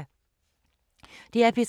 DR P3